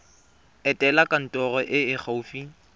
etela kantoro e e gaufi